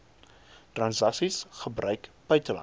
transaksies gebruik buitelandse